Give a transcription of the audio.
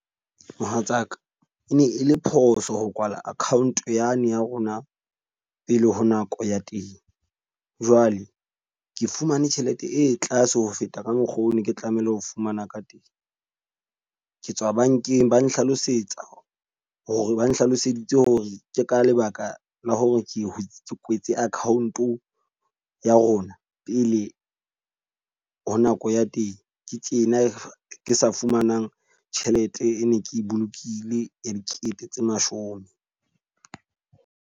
Mohatsaka, e ne e le phoso ho kwala account yane ya rona pele ho nako ya teng. Jwale ke fumane tjhelete e tlase ho feta ka mokgwa o ne ke tlamehile ho fumana ka teng. Ke tswa bank-eng ba nhlalosetsa hore ba nhlaloseditse hore ke ka lebaka la hore ke ke kwetse account-o ya rona pele le ho nako ya teng. Ke tjena ke sa fumanang tjhelete ene, ke bolokile e dikete tse mashome.